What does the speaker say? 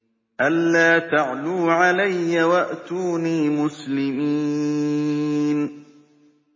أَلَّا تَعْلُوا عَلَيَّ وَأْتُونِي مُسْلِمِينَ